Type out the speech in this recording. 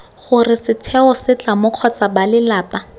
gore setheo setlamo kgotsa balelapa